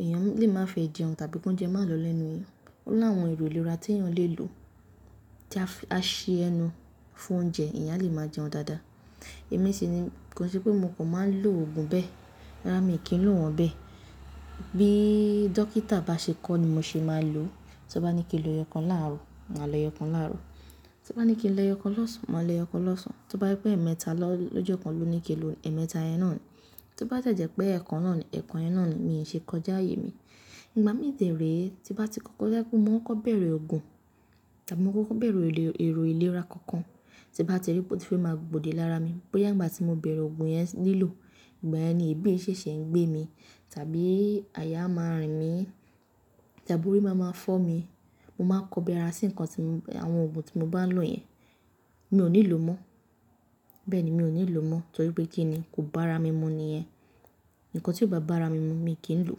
èèyàn lè má fẹ́ jẹun tàbí kí oúnjẹ máa lọ lẹ́nu eyan. Ó láwọn èrò ìlera tí èèyàn lè lò, tí a ṣi ẹnu fún oúnjẹ, ìyá lè máa jẹun dáadáa. Èmi sì ni kò ṣe pé mo kò máa ń lo òògùn bẹ́ẹ̀. Rárá mi kì í lò wọ́n bẹ́ẹ̀. Bí dókítà bá ṣe kọ́ ni mo ṣe máa lò ó. Tó bá ní kí n lo ẹyokan láàrọ̀, màá lo ẹyokan láàrọ̀. Tó bá ní kí n lo ẹyokan lọ́sàn-án, màá lo ẹyokan lọ́sàn-án. Tó bá je pé emẹ́ta lọ́jọ́ kan ló ní kí n lo, emẹ́ta yẹn náà ni. Tó bá jẹ́ jẹ́ pé ẹ̀kan náà ni, ẹ̀kan yẹn náà ni. Mi ò ṣe kọjá ààyè mi. Ìgbà mí dere e, tí bá ti kọ́kọ́ jẹ́ pé mo kọ́ko bẹ̀rẹ̀ òògùn tàbí mo kọ́ko bẹ̀rẹ̀ èrò ìlera kankan, tí bá ti rí pé ó ti fẹ́ máa gbòde lára mi, bóyá ìgbà tí mo bẹ̀rẹ̀ òògùn yẹn nílò, ìgbà yẹn nii ebi ṣeṣẹ́ ń gbé mi tàbí àyà máa rìn mí tàbí orí má ma ń fọ́ mi, mo máa kọ́bi ara sí nǹkan tí àwọn òògùn tí mo bá lò yẹn. Mi ò ní lò mọ́. Bẹ́ẹ̀ ni, mi ò ní lò mọ́ torí pé kí ni, kò bá ara mi mu nìyẹn. Nǹkan tí ó bá bá ara mi mu mi kì í lò.